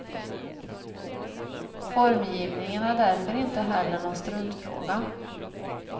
Formgivningen är därför inte heller någon struntfråga.